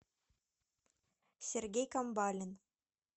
сергей камбалин